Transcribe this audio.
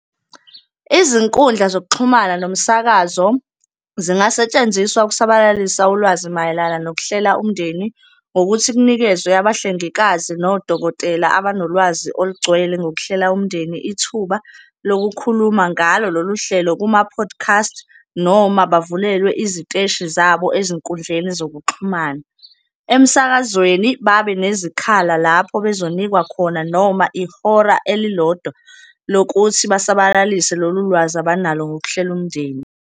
Izinkundla zokuxhumana nomsakazo zingasetshenziswa ukusabalalisa ulwazi mayelana nokuhlela umndeni ngokuthi kunikezwe abahlengikazi nodokotela, abanolwazi olugcwele ngokuhlela umndeni, ithuba lokukhuluma ngalo lolu hlelo kuma-podcast. Noma bavulelwa iziteshi zabo ezinkundleni zokuxhumana. Emsakazweni, babe nezikhala lapho bezonikwa khona noma ihora elilodwa lokuthi basabalise lolu lwazi abanalo ngokuhlela umndeni.